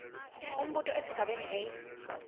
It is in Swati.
umbuto esigabeni a